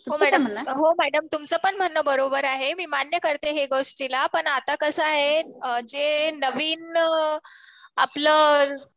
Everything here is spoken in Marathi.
हो मॅडम तुमचं पण म्हणणं बरोबर आहे. मी मान्य करते ह्या गोष्टीला. पण आता कसं आहे जे नवीन आपलं